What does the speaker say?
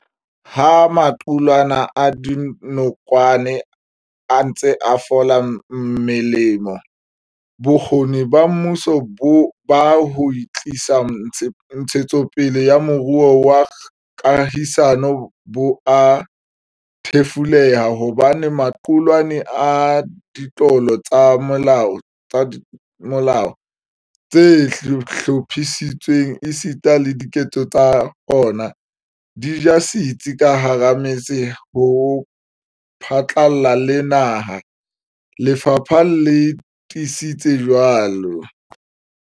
Ha maqulwana a dinokwane a ntse a fola melemo, bokgoni ba mmuso ba ho tlisa ntshetsopele ya moruo wa kahisano bo a thefuleha hobane maqulwana a ditlolo tsa molao tse hlophisitsweng esita le diketso tsa ona, di ja setsi ka hara metse ho phatlalla le naha, lefapha le tiisitse jwalo.